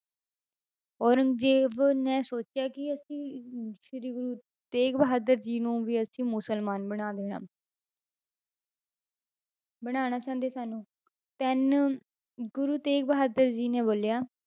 ਔਰੰਗਜ਼ੇਬ ਨੇ ਸੋਚਿਆ ਕਿ ਅਸੀਂ ਅਮ ਸ੍ਰੀ ਗੁਰੂ ਤੇਗ ਬਹਾਦਰ ਜੀ ਨੂੰ ਵੀ ਅਸੀਂ ਮੁਸਲਮਾਨ ਬਣਾ ਦੇਣਾ ਬਣਾਉਣਾ ਚਾਹੁੰਦੇ ਸਨ ਉਹ then ਗੁਰੂ ਤੇਗ ਬਹਾਦਰ ਜੀ ਨੇ ਬੋਲਿਆ,